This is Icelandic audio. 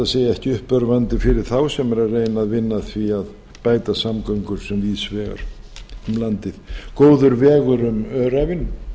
ekki uppörvandi fyrir þá sem eru að reyna að vinna að því að bæta samgöngur sem víðs vegar um landið góður vegur um öræfin